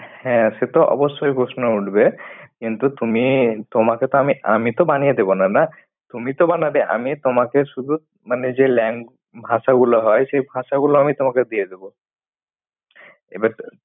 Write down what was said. হ্যাঁ, সে তো অবশ্যই প্রশ্ন উঠবে। কিন্তু তুমি তোমাকে তো আমি আমি তো বানিয়ে দেবো না, না। তুমি তো বানাবে। আমি তোমাকে শুধু মানে যে lang ভাষা গুলো হয়, সেই ভাষা গুলো আমি তোমাকে দিয়ে দেব। এবার